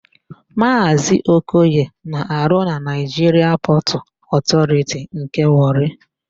Maazị Okoye na-arụ na Naịjiria Pọtụ Ọtọriti nke Wọrị.